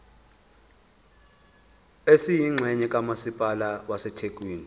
esiyingxenye kamasipala wasethekwini